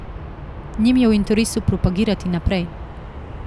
Njim je v interesu propagirati naprej.